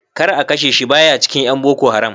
Kar a kashe shi, baya cikin ƴan boko haram.